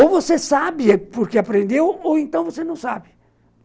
Ou você sabe porque aprendeu, ou então você não sabe.